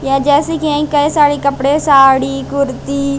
यह जैसे कि यही कई सारे कपड़े साड़ी कुर्ती--